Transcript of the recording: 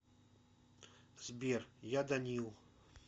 сбер я данил